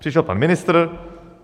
Přišel pan ministr.